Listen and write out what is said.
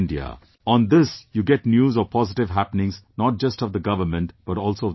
On this you get news of positive happenings, not just of the government but also of the people around